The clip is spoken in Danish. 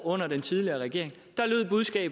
under den tidligere regering